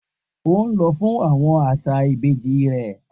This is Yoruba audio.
O n lọ fun awọn aṣa ibeji rẹ